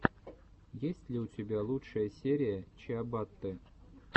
есть ли у тебя лучшая серия чиабатты